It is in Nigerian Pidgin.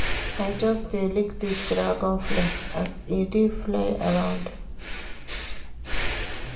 I just dey look dis dragonfly as e dey fly around.